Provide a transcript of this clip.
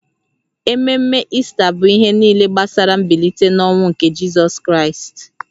Ememe Ista bụ ihe niile gbasara mbilite n’ọnwụ nke Jizọs Kraịst